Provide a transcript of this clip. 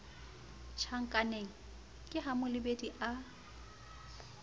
tjhankaneng ke ha molebedi a